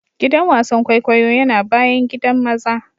Giɗan wasan ƙwaiƙwayo yana baƴan giɗan maza ne.